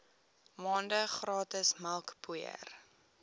maande gratis melkpoeier